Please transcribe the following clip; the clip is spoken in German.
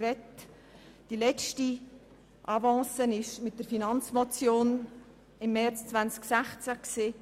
Der letzte Versuch war eine Finanzmotion vom März 2016.